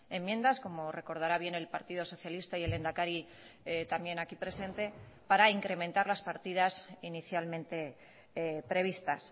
enmiendas como recordará bien el partido socialista y el lehendakari también aquí presente para incrementar las partidas inicialmente previstas